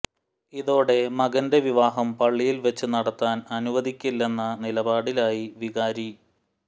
ഇതോടെ മകന്റെ വിവാഹം പള്ളിയിൽ വച്ച് നടത്താൻ അനുവദിക്കില്ലെന്ന നിലപാടിലായി വികാരി